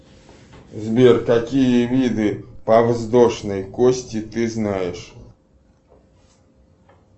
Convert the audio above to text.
сбер какие виды подвздошной кости ты знаешь